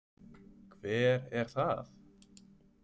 Hver er það?